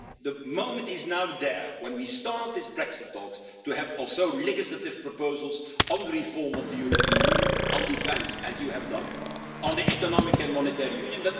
I think the moment is now there, when we start these Brexit talks, to have also legislative proposals on the reform of the European Union, on defence as you have done and on economic and monetary union.